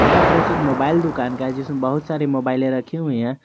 यह दृश्य एक मोबाइल दुकान का है जिसमें बहुत सारी मोबाइले रखी हुई है।